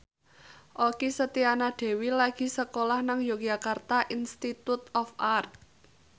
Okky Setiana Dewi lagi sekolah nang Yogyakarta Institute of Art